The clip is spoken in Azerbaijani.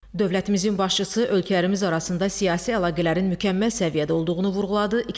Dövlətimizin başçısı ölkələrimiz arasında siyasi əlaqələrin mükəmməl səviyyədə olduğunu vurğuladı.